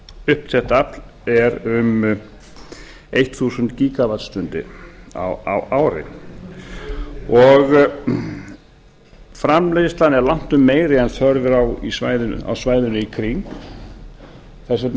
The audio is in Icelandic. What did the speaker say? uppsett afl er um tíu þúsund gígavattstundir á ári framleiðslan er langtum meiri en þörf er á á svæðinu í kring þess vegna